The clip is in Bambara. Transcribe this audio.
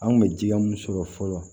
An kun bɛ jija mun sɔrɔ fɔlɔ